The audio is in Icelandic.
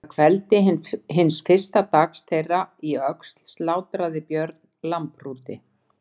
Að kveldi hins fyrsta dags þeirra í Öxl slátraði Björn lambhrúti.